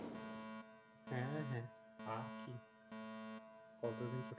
হ্যাঁ হ্যাঁ তা ঠিক কত দিন ছোট